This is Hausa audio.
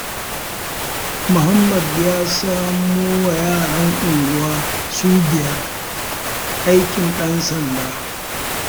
Muhammad ya samowa yaran unguwa su biyar aikin ɗan sanda.